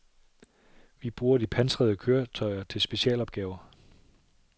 Vi bruger de pansrede køretøjer til specialopgaver.